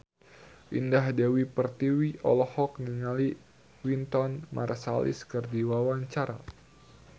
Indah Dewi Pertiwi olohok ningali Wynton Marsalis keur diwawancara